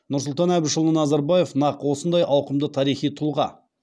нұрсұлтан әбішұлы назарбаев нақ осындай ауқымды тарихи тұлға